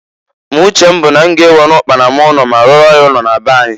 Ma uche m bụ na m ga-ewena ụkpana m ụnọ ma rụọrọ ya ụnọ na be anyi.